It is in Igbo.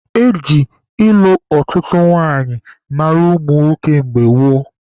Eji ịlụ ọtụtụ nwanyị mara ụmụ nwoke mgbe gboo.